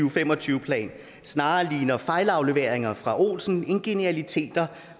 og fem og tyve plan snarere ligner fejlafleveringer fra olsen end genialiteter